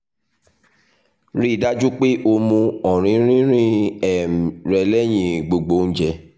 rii daju pe o mu ọrinrinrin um rẹ lẹhin gbogbo ounjẹ